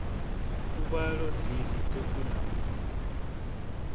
fuvhalo ḓi ḽiṱuku na u